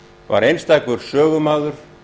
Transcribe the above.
var einstakur sögumaður